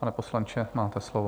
Pane poslanče, máte slovo.